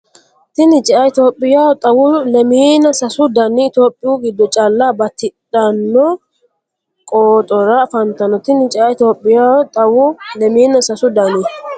Tini cea Itophiyaho xawu lemiina sasu dani Itophiyu giddo calla bati ranno qooxora afantanno Tini cea Itophiyaho xawu lemiina sasu dani.